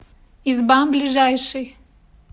изба ближайший